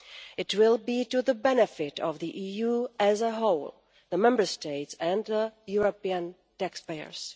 It will be to the benefit of the EU as a whole, the Member States and European taxpayers.